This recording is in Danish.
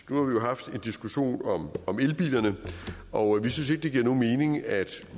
nu har haft en diskussion om elbilerne og vi synes ikke det giver nogen mening at